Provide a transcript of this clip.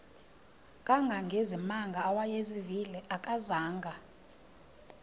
kangangezimanga awayezivile akazanga